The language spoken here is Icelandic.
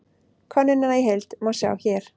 Könnunina í heild má sjá hér